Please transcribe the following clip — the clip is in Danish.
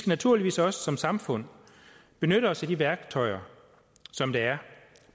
naturligvis også som samfund benytte os af de værktøjer som der er